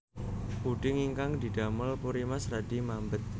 Puding ingkang didamel Purimas radi mambet